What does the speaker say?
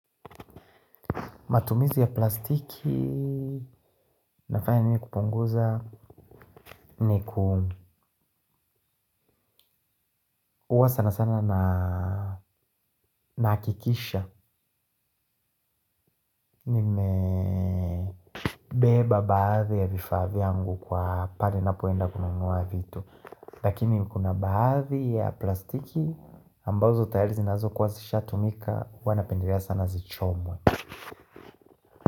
Matumizi ya plastiki nafanya mimi kupunguza ni ku sana sana na nahakikisha. Nimebeba baadhi ya vifaa vyangu kwa pahali ninapo enda kununuwa vitu. Lakini kuna baadhi ya plastiki ambazo tayari zinazo kuwa zishatumika huwa napendelea sana zichomwe.